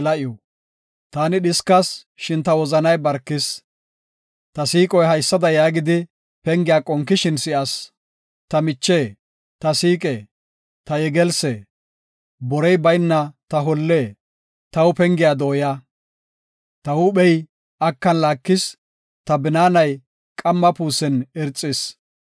Taani dhiskas; shin ta wozanay barkis; ta siiqoy haysada yaagidi pengiya qonkishin si7as. “Ta miche, ta siiqe, ta yegelsse; borey bayna ta holle, taw pengiya dooya. Ta huuphey akan laakis; ta binaanay qamma puusen irxis.”